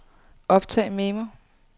optag memo